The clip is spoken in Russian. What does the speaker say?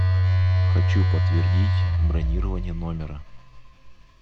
хочу подтвердить бронирование номера